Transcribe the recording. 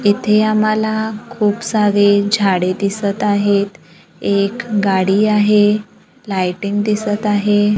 इथे आम्हाला खूपसारे झाडे दिसत आहेत एक गाडी आहे लाइटिंग दिसत आहे.